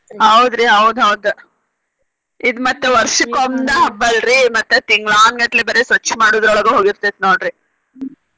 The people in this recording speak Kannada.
ಹೌದ್ರಿ ಹೌದ ಹೌದ ಇದ ಮತ್ತ ವರ್ಷಕ್ಕೊಂದ ಹಬ್ಬ ಅಲ್ರಿ ಮತ್ತ ತಿಂಗ್ಲಾನ್ಗಟ್ಲೆ ಬರೆ ಸ್ವಚ್ಛ ಮಾಡೋದ್ರೋಳಗ ಹೋಗಿರ್ತೆತಿ ನೋಡ್ರಿ.